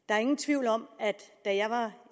der er ingen tvivl om at da jeg var